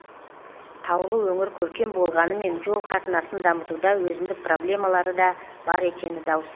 таулы өңір көркем болғанымен жол қатынасын дамытуда өзіндік проблемалары да бар екені даусыз